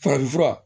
Farafinfura